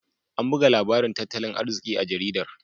An buga labarin tattalin arziki a jaridar.